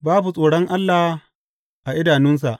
Babu tsoron Allah a idanunsa.